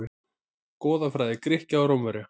Goðafræði Grikkja og Rómverja.